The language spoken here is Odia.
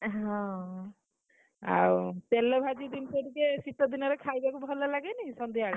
ଏ ହଁ, ଆଉ ତେଲଭାଜି ଜିନିଷ ଟିକେ ଶୀତ ଦିନେରେ ଖାଇବାକୁ ଭଲଲାଗେନି ସନ୍ଧ୍ୟାବେଳେ ।